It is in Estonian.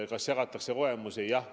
Kas jagatakse kogemusi?